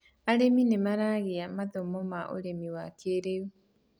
arĩmi nĩmaragia mathomo ma ũrĩmi wa kĩiriu